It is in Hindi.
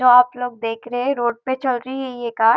आप लोग देख रहे है रोड पे चल रही है ये कार ।